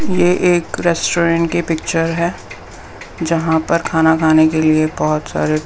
यह एक रेस्टोरेंट की पिक्चर है जहाँ पर खाना खाने के लिए बहुत सारे--